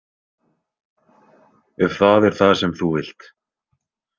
Ef það er það sem þú vilt.